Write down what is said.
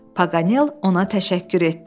Paqanel ona təşəkkür etdi.